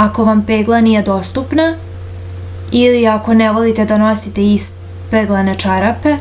ako vam pegla nije dostupna ili ako ne volite da nosite ispeglane čarape